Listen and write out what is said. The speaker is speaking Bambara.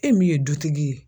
E min ye dutigi ye